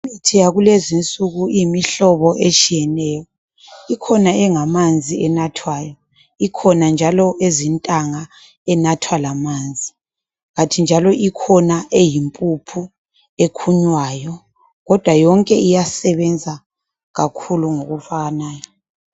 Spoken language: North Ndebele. Imithi yakulezinsuku imihlobo etshiyeneyo. Ikhona engamanzi enathwayo, ikhona njalo ezintanga enathwa lamanzi kanti njalo ikhona eyimpuphu ekhunywayo kodwa yonke iyasebenza kakhulu ngokufananayo.